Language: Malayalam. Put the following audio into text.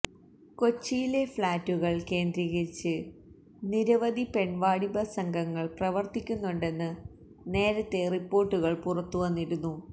കൊച്ചിയിലെ ഫ്ളാറ്റുകള് കേന്ദ്രീകരിച്ച് നിരവധി പെണ്വാണിഭ സംഘങ്ങള് പ്രവര്ത്തിക്കുന്നുണ്ടെന്ന് നേരത്തെ റിപ്പോര്ട്ടുകള് പുറത്തുവന്നിരുന്നു